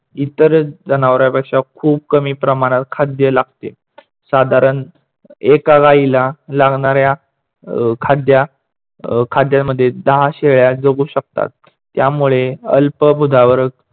इतर जनावरापेक्षा खूप कमी प्रमाणात खाद्य लागते. साधारण एका गाईला लागणाऱ्या खाद्या खाद्यामध्ये दहा शेळ्या जगू शकतात, त्यामुळे अल्पभूधावरक